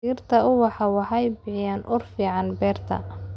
Dhirta ubaxa waxay bixiyaan ur fiican beerta.